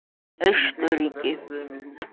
Austurríki